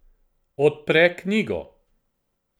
Odpre knjigo.